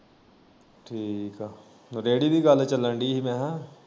ਠੀਕ ਐ ਰੇੜੀ ਦੀ ਗੱਲ ਚੱਲਣ ਦੀ ਮੈਂ ਕਿਹਾ।